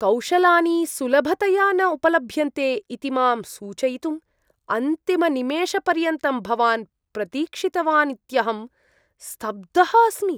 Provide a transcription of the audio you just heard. कौशलानि सुलभतया न उपलभ्यन्ते इति मां सूचयितुम् अन्तिमनिमेषपर्यन्तं भवान् प्रतीक्षितवानित्यहं स्तब्धः अस्मि।